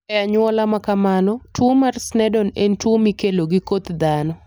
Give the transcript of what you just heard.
E anyuola ma kamano, tuwo mar Sneddon en tuwo mikelo gi koth dhano.